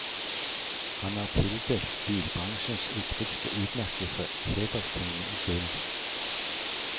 Han er tildelt bilbransjens viktigste utmerkelse, hederstegnet i gull.